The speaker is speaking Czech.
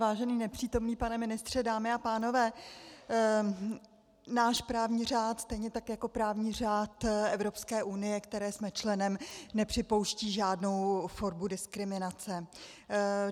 Vážený nepřítomný pane ministře, dámy a pánové, náš právní řád stejně tak jako právní řád Evropské unie, které jsme členem, nepřipouští žádnou formu diskriminace.